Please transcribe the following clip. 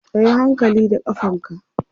kayi hankali da ƙafanka!